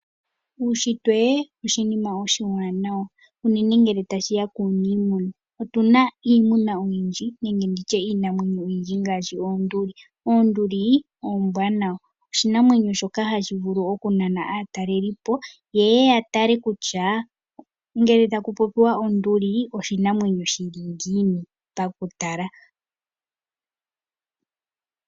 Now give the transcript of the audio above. Uunshitwe oshinima oshiwanawa unene ngele tashi ya kuuniimuna. Otu na iimuna oyindji nenge iinamwenyo oyindji ngaashi oonduli. Oonduli oombwanawa. Oshinamwenyo shoka hashi vulu okunana aatalelipo, ye ye ya tale kutya ngele taku popiwa onduli oshinamwenyo shi li ngiini pakutala.